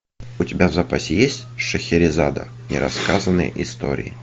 у тебя в запасе есть шахерезада нерассказанные истории